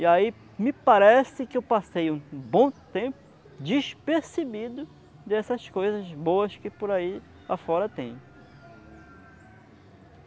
E aí, me parece que eu passei um um bom tempo despercebido dessas coisas boas que por aí a fora tem.